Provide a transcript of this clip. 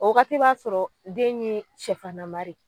O wagati b'a sɔrɔ den ye sɛfannamare